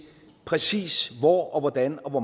præcis hvor og hvordan og hvor